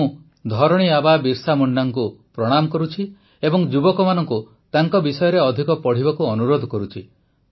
ମୁଁ ଧରଣୀ ଆବା ବିର୍ସା ମୁଣ୍ଡାଙ୍କୁ ପ୍ରଣାମ କରୁଛି ଏବଂ ଯୁବକମାନଙ୍କୁ ତାଙ୍କ ବିଷୟରେ ଅଧିକ ପଢ଼ିବାକୁ ଅନୁରୋଧ କରୁଛି